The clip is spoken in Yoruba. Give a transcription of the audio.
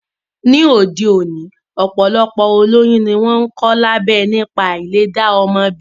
Ni ayé òde òní, ọ̀pọ̀lọpọ̀ olóyún ni wọ́n ń kọ lábẹ́ nípa áìlè dá ọmọ bí